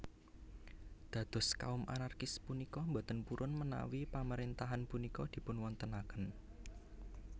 Dados kaum anarkis punika boten purun menawi pamaréntahan punika dipunwontenaken